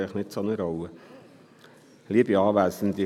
Das spielt eigentlich keine Rolle.